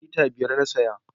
Lita biyar na saya